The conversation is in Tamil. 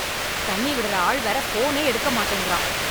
தண்ணி விடற ஆள் வேற போனே எடுக்க மாட்டேங்கறான்.